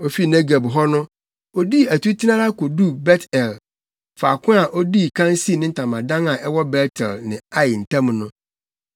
Ofii Negeb hɔ no, odii atutena ara koduu Bet-El, faako a odii kan sii ne ntamadan a ɛwɔ Bet-El ne Ai ntam no.